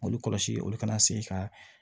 Olu kɔlɔsi olu kana segin ka